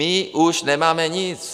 My už nemáme nic.